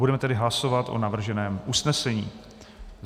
Budeme tedy hlasovat o navrženém usnesení.